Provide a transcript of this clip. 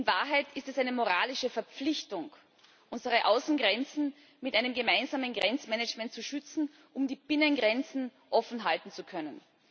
In Wahrheit ist es eine moralische Verpflichtung, unsere Außengrenzen mit einem gemeinsamen Grenzmanagement zu schützen, um die Binnengrenzen offenhalten zu können.